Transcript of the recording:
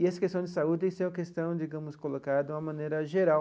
E essa questão de saúde tem sido a questão, digamos, colocada de uma maneira geral.